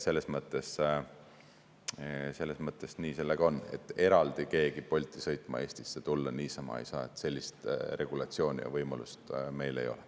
Selles mõttes nii on: niisama keegi Bolti sõitma Eestisse tulla ei saa, sellist regulatsiooni ja võimalust meil ei ole.